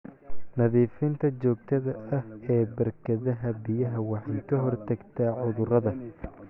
Nadiifinta joogtada ah ee barkadaha biyaha waxay ka hortagtaa cudurada.